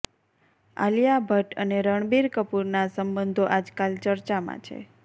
આલિયા ભટ્ટ અને રણબીર કપૂરના સંબંધો આજકાલ ચર્ચામાં છે